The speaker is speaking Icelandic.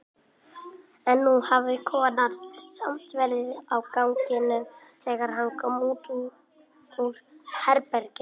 En nú hafði konan samt verið á ganginum þegar hann kom út úr herberginu.